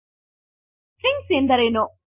strings ಎಂದರೇನು